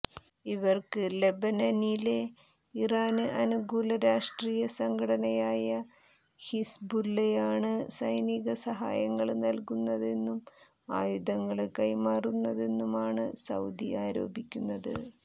ഇവര്ക്ക് ലെബനനിലെ ഇറാന് അനുകൂല രാഷ്ട്രീയ സംഘടനയായ ഹിസ്ബുല്ലയാണ് സൈനിക സഹായങ്ങള് നല്കുന്നതെന്നും ആയുധങ്ങള് കൈമാറുന്നതെന്നുമാണ് സൌദി ആരോപിക്കുന്നത്